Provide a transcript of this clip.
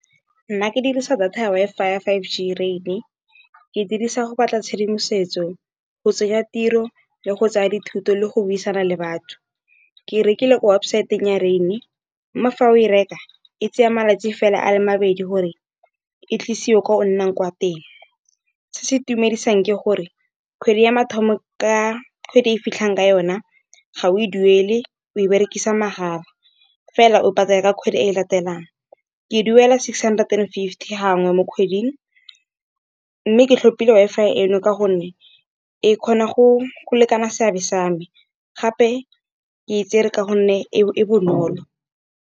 a ke dirisa data ya Wi-Fi five G rain, ke dirisa go batla tshedimosetso go tsenya tiro le go tsaya dithuto le go buisana le batho. Ke rekile websaeteng ya rain, mme fa o e reka e tsaya malatsi fela a le mabedi gore e tlisiwe ko o nnang kwa teng. Se se itumedisang ke gore kgwedi ya mathomo ka kgwedi e fitlhang ka yona, ga o e duele o e berekisa mahala, fela o patala ka kgwedi e latelang. Ke duela six hundred and fifty gangwe mo kgweding, mme ke tlhopile Wi-Fi e no ka gonne, e kgona go lekana seabe sa me gape ke itsere ka gonne e bonolo.